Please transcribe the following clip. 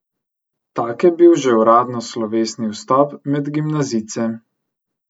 Tak je bil že uradno slovesni vstop med gimnazijce.